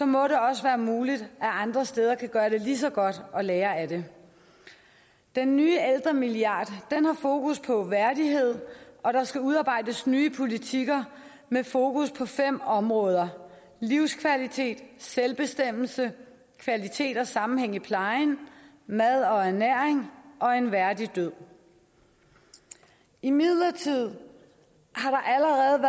må det også være muligt at man andre steder kan gøre det lige så godt og lære af det den nye ældremilliard har fokus på værdighed og der skal udarbejdes nye politikker med fokus på fem områder livskvalitet selvbestemmelse kvalitet og sammenhæng i plejen mad og ernæring og en værdig død imidlertid